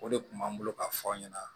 O de kun b'an bolo ka fɔ aw ɲɛna